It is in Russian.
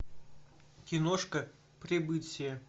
киношка прибытие